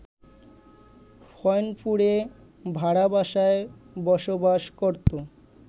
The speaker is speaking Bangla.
ফইনপুরে ভাড়া বাসায় বসবাস করত